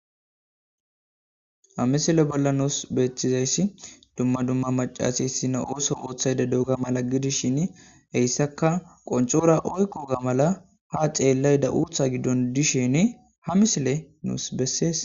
a misile bolla nuus beeththizayssi dumma dumma macasa issina ooso ooththayde duuga mala gidishin heyssaka qoncora oykkoga mala ha ceellay da uutha giddon dishin ha misile nuus bessees